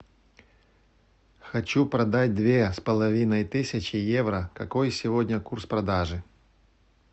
хочу продать две с половиной тысячи евро какой сегодня курс продажи